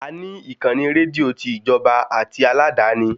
A ní ìkànnì rédíò ti Ìjọba àti aládàáni